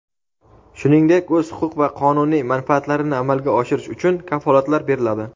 shuningdek o‘z huquq va qonuniy manfaatlarini amalga oshirish uchun kafolatlar beriladi.